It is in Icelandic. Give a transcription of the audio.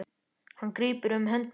Hann grípur um hönd mína.